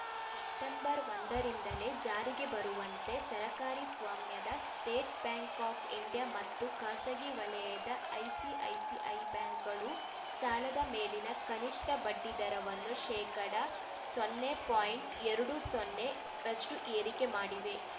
September ಒಂದರಿಂದಲೇ ಜಾರಿಗೆ ಬರುವಂತೆ ಸರ್ಕಾರಿ ಸ್ವಾಮ್ಯದ ಸ್ಟೇಟ್‌ ಬ್ಯಾಂಕ್‌ ಆಫ್‌ ಇಂಡಿಯಾ ಮತ್ತು ಖಾಸಗಿ ವಲಯದ ಐಸಿಐಸಿಐ ಬ್ಯಾಂಕ್‌ಗಳು ಸಾಲದ ಮೇಲಿನ ಕನಿಷ್ಠ ಬಡ್ಡಿದರವನ್ನು ಶೇಕಡಾ ಸೊನ್ನೆಪಾಯಿಂಟ್ ಎರಡು ಸೊನ್ನೆ ರಷ್ಟುಏರಿಕೆ ಮಾಡಿವೆ